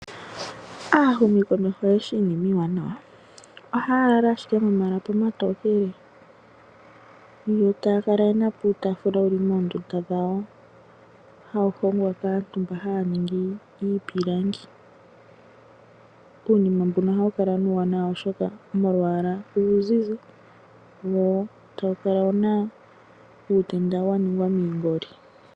Aahumikomeho oyeshi iinima iiwaanawa. Ohaya lala ashike momalapi omatokele, yo taya kala ye na po uutaafula wu li moondunda dhawo, hawu hongwa kaantu mbo haya ningi iipilangi. Uunina mbuno ohawu kala nee uuwanawa oshoka molwaala lwawo uuzi wo tawu kala wu na uutenda wa ningwa miingoli.